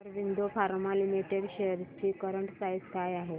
Aurobindo pharma limited shares ची current price काय आहे